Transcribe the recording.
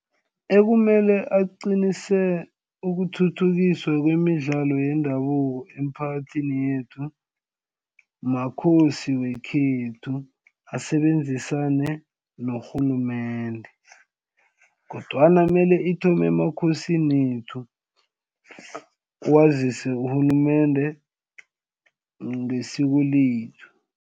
Ekumele aqinise ukuthuthukiswa kwemidlalo yendabuko emiphakathini yethu makhosi wekhethu asebenzisane norhulumende kodwana mele ithome emakhosinethu wazise urhulumende ngesiko lethu.